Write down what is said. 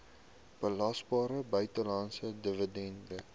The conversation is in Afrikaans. belasbare buitelandse dividend